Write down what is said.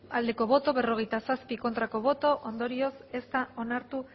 bai berrogeita zazpi ez ondorioz ez da onartu